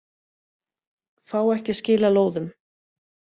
Fá ekki að skila lóðum